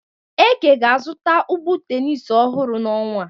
Eke ga-azụta ụgbụ tenis ọhụrụ n'ọnwa a.